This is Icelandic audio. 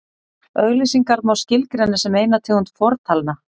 auglýsingar má skilgreina sem eina tegund fortalna